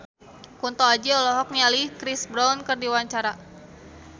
Kunto Aji olohok ningali Chris Brown keur diwawancara